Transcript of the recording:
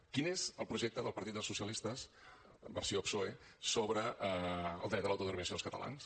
quin és el projecte del partit dels socialistes versió psoe sobre el dret a l’autodeterminació dels catalans